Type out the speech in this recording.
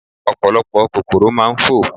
Ọ̀pọ̀lọpọ̀ kòkòrò máa ń fò.